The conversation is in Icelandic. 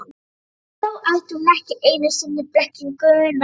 Og þá ætti hún ekki einu sinni blekkinguna.